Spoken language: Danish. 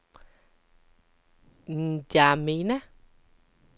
N'Djamena